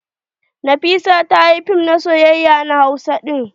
Nafisa ta yi fim na soyayya na hausa ɗin.